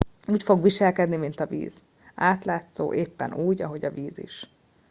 úgy fog viselkedni mint a víz átlátszó éppen úgy ahogy a víz is